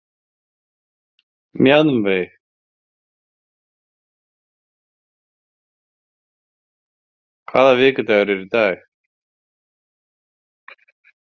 Mjaðveig, hvaða vikudagur er í dag?